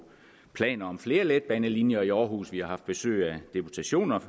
planer om flere letbanelinjer i aarhus vi har haft besøg af deputationer